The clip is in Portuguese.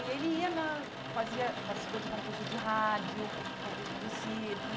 E ele ia na fazia participou de concursos de rádio, concursos do circo.